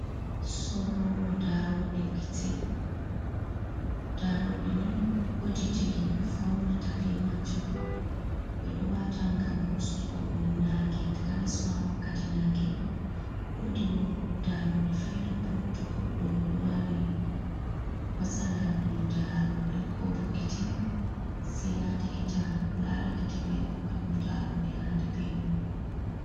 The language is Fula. Sorrowo daaroɗe gite. Daaroɗe ni woodi je himɓe faunirta be maajum. Ɓe ɗo waata ngam ustugo nange, takanas ma wakkati nange. Woodi daaroɗe feere bo, to goɗɗo ɗo mari matsala ɗum daaroɗe ko bo gite, sei yaha likita laara gite mai hokka ɗum daaroɗe handi be mum.